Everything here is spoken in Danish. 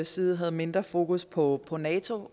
side havde mindre fokus på på nato